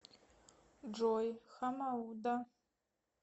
джой хамоуда